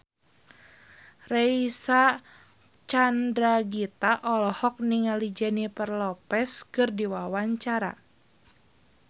Reysa Chandragitta olohok ningali Jennifer Lopez keur diwawancara